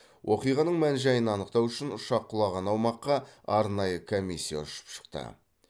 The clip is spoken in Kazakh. оқиғаның мән жайын анықтау үшін ұшақ құлаған аумаққа арнайы комиссия ұшып шықты